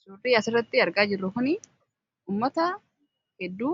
Surri asirratti argaa jirru kun ummata hedduu